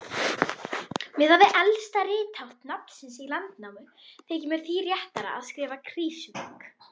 Miðað við elsta rithátt nafnsins í Landnámu þykir mér því réttara að skrifa Krýsuvík.